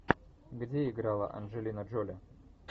где играла анджелина джоли